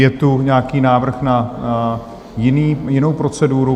Je tu nějaký návrh na jinou proceduru?